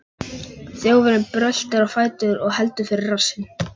Þjófurinn bröltir á fætur og heldur fyrir rassinn.